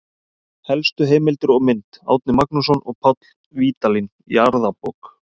Helstu heimildir og mynd: Árni Magnússon og Páll Vídalín, Jarðabók.